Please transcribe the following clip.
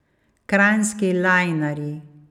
Kranjski lajnarji.